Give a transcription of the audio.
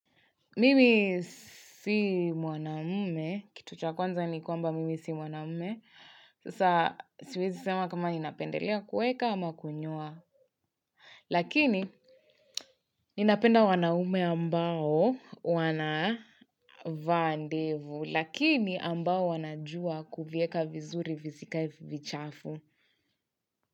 Mimi si mwanamume. Kitu cha kwanza ni kwamba mimi si mwanamume. Sasa siwezi sema kama ninapendelea kuweka ama kunyoa. Lakini ninapenda wanaume ambao wana vaa ndevu. Lakini ambao wanajua kuvieka vizuri visikae vichafu.